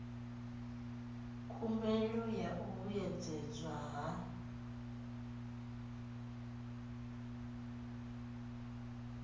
khumbelo ya u vhuedzedzwa ha